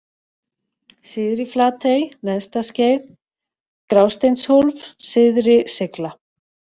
Syðri-Flatey, Neðstaskeið, Grásteinshólf, Syðri-Seigla